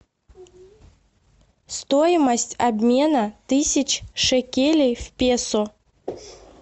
стоимость обмена тысяч шекелей в песо